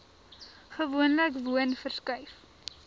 gewoonlik woon verskuif